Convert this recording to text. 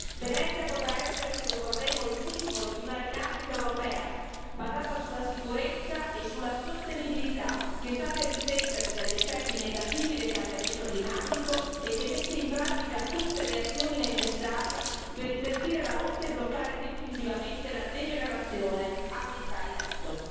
Venezia potrà essere, se lo vorremo, il simbolo di una rinascita europea basata sulla sicurezza e sulla sostenibilità, che sappia difenderci dagli effetti negativi del cambiamento climatico e che metta in pratica tutte le azioni necessarie per invertire la rotta e bloccare definitivamente la degenerazione ambientale in atto.